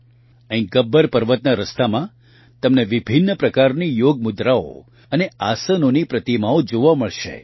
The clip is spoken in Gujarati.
અહીં ગબ્બર પર્વતના રસ્તામાં તમને વિભિન્ન પ્રકારની યોગ મુદ્રાઓ અને આસનોની પ્રતિમાઓ જોવા મળશે